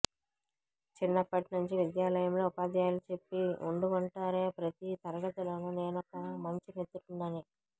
చిన్నప్పటినుంచి విద్యాలయంలో ఉపాధ్యాయులు చెప్పి ఉండుంటారే ప్రతీ తరగతిలోనూ నేనొక మంచి మిత్రుడినని